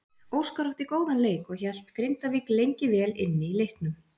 Óskar átti góðan leik og hélt Grindavík lengi vel inni í leiknum.